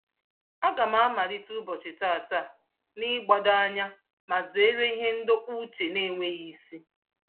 Aga m amalite ụbọchị tata n'ịgbado anya ma zeere ihe ndọpụ uche n'enweghị isi.